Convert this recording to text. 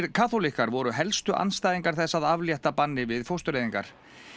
kaþólikkar voru helstu andstæðingar þess að aflétta banni við fóstureyðingar